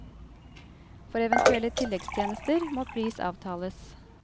For eventuelle tilleggstjenester må pris avtales.